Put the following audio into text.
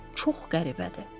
Çox qəribədir.